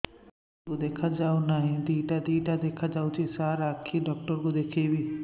ମୋ ଆଖିକୁ ଦେଖା ଯାଉ ନାହିଁ ଦିଇଟା ଦିଇଟା ଦେଖା ଯାଉଛି ସାର୍ ଆଖି ଡକ୍ଟର କୁ ଦେଖାଇବି